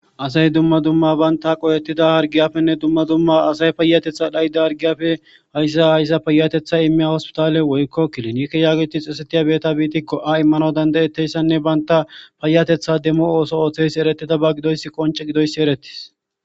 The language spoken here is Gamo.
asay duma duma baynta qoyettida hargiyafenne duma duma asay payatetha dhayda hargiyafe hayssa hayssa payatetha immiya hospitale woykko kilinikke yaagiti xesetiya beeta biitikko a immanaw dandayetteyssanne baynta payatetha demmo ooso ooththeys erettida ba gidoys qonce gidoyssi eretis